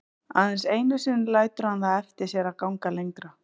Aðeins einu sinni lætur hann það eftir sér að ganga lengra.